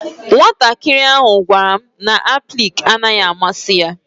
Nwatakịrị ahụ gwara m na aplịk naghị amasị ya.